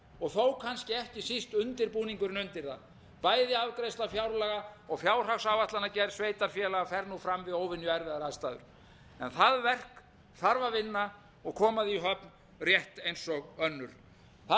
og ellefu verður erfitt þó kannski síst undirbúningurinn undir það bæði afgreiðsla fjárlaga og fjárhagsáætlanagerð sveitarfélaga fer nú fram við óvenju erfiðar aðstæður en það verk þarf að vinna og koma því í höfn rétt eins og önnur það